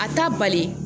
A t'a bali